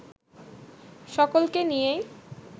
সকলকে নিয়েই